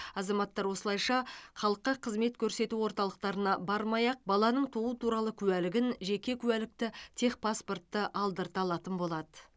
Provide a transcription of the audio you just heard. азаматтар осылайша халыққа қызмет көрсету орталықтарына бармай ақ баланың туу туралы куәлігін жеке куәлікті техпаспортты алдырта алатын болады